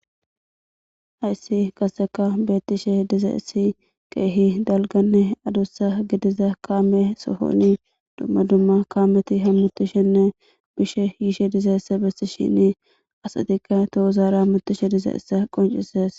hayssi qaseka beettishe dizayiss keehi dalganne adussa gidiza kaame sohoni dumma dumma kaameti hammutishenne bishe yiishe dizayisse bessishini asatikka tohuzaara hammutishe dizayissa qoncises